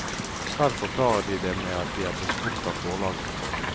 Selv forklarer de det med at de er blitt spurt av forlagene.